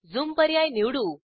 zoom पर्याय निवडू